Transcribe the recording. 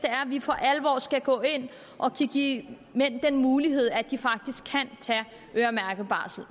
vi for alvor skal kunne gå ind og give mænd den mulighed at de faktisk kan tage øremærket barsel